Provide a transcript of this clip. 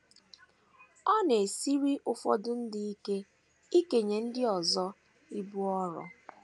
Ọ na - esiri ụfọdụ ndị ike ikenye ndị ọzọ ibu ọrụ.